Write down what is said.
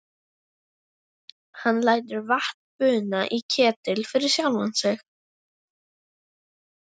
Hann lætur vatn buna í ketil fyrir sjálfan sig.